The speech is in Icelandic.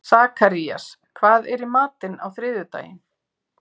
Sakarías, hvað er í matinn á þriðjudaginn?